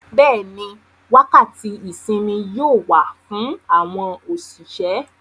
Bẹ́ẹ̀ni, wákàtí ìsinmi yóò wà fún àwọn òṣìṣẹ́.